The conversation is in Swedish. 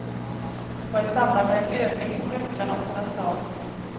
Det var i samband med en övning som rökgranaterna stals.